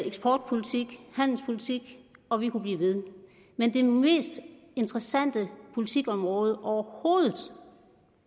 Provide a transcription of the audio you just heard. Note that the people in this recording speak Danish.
eksportpolitik handelspolitik og vi kunne blive ved men det mest interessante politikområde overhovedet